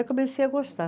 Aí comecei a gostar.